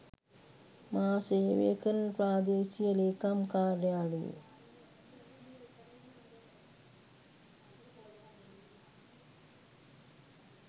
මා සේවය කරන ප්‍රාදේශීය ලේකම් කාර්යාලයේ